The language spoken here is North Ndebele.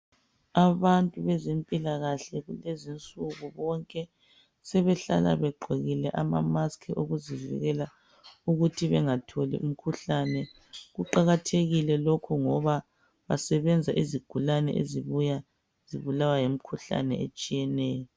Abantu bezempilakahle kulezi nsuku bonke sebehlala begqokile amamaskhi okuzivikela ukuthi bengatholi imikhuhlane. Kuqakathekile lokhu ngoba basebenza izigulane ezibuya zibulawa yimkhuhlane etshiyeneyo.